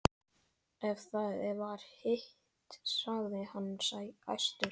Ef það var hitt, sagði hann æstur: